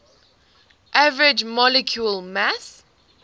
average molecular mass